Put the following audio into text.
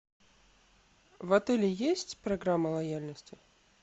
в отеле есть программа лояльности